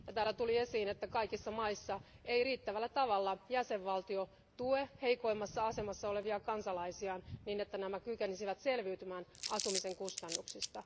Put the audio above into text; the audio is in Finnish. Täällä tuli myös esiin, että kaikissa maissa ei riittävällä tavalla jäsenvaltio tue heikoimmassa asemassa olevia kansalaisiaan, niin että nämä kykenisivät selviytymään asumisen kustannuksista.